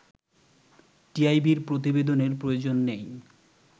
টিআইবির প্রতিবেদনের প্রয়োজন নেই